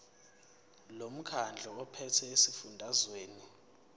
lomkhandlu ophethe esifundazweni